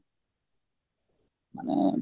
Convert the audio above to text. ମାନେ